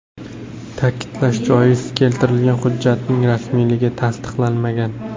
Ta’kidlash joiz, keltirilgan hujjatning rasmiyligi tasdiqlanmagan.